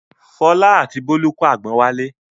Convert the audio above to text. Fọlá àti Bólú kó àgbọn wálé.